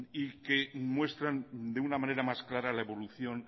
y que muestran de una manera más clara la evolución